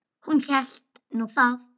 Hún hélt nú það.